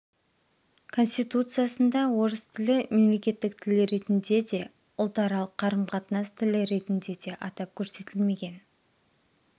конституциясында орыс тілі мемлекеттік тіл ретінде де ұлтаралық қарым-қатынас тілі ретінде де атап көрсетілмеген